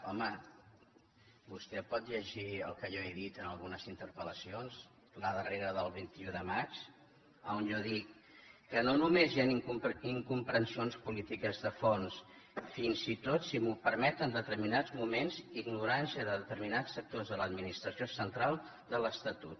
home vostè pot llegir el que jo he dit en algunes interpel·lacions la darrera del vint un de maig on jo dic que no només hi han incomprensions polítiques de fons fins i tot si m’ho permet en determinats moments ignorància de determinats sectors de l’administració central de l’estatut